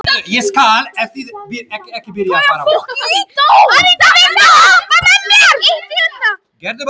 Anita, viltu hoppa með mér?